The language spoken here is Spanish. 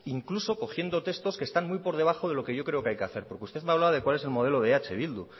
incluso cogiendo textos que están muy por debajo de lo que yo creo que hay que hacer porque usted me hablaba de cuál es el modelo de eh bildu